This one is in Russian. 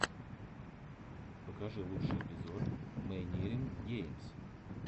покажи лучший эпизод мэйнирин геймс